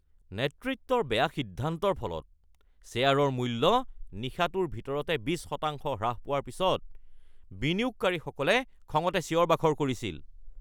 নেতৃত্বৰ বেয়া সিদ্ধান্তৰ ফলত শ্বেয়াৰৰ মূল্য নিশাটোৰ ভিতৰতে ২০% হ্ৰাস পোৱাৰ পিছত বিনিয়োগকাৰীসকলে খঙতে চিঞৰ-বাখৰ কৰিছিল।